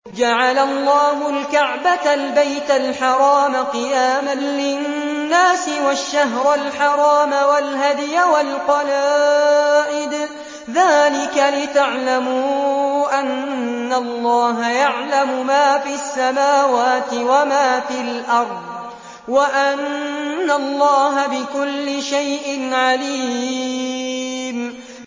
۞ جَعَلَ اللَّهُ الْكَعْبَةَ الْبَيْتَ الْحَرَامَ قِيَامًا لِّلنَّاسِ وَالشَّهْرَ الْحَرَامَ وَالْهَدْيَ وَالْقَلَائِدَ ۚ ذَٰلِكَ لِتَعْلَمُوا أَنَّ اللَّهَ يَعْلَمُ مَا فِي السَّمَاوَاتِ وَمَا فِي الْأَرْضِ وَأَنَّ اللَّهَ بِكُلِّ شَيْءٍ عَلِيمٌ